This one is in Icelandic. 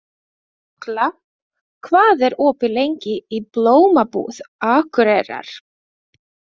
Jökla, hvað er opið lengi í Blómabúð Akureyrar?